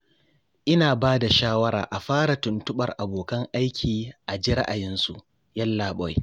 Ina ba da shawara a fara tuntuɓar abokan aiki a ji ra'ayinsu, Yallaɓai